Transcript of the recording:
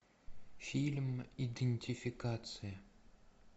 фильм идентификация